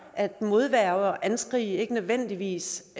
at modværge og anskrig ikke nødvendigvis